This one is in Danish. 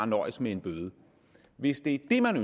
nøjes med en bøde hvis det er det